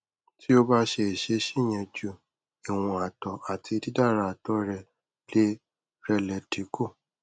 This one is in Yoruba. ti o ba ṣe iṣesi yẹn ju iwọn atọ ati didara atọ rẹ le rẹ le dinku